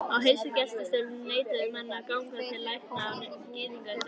Á heilsugæslustöðvum neituðu menn að ganga til lækna af gyðingaættum.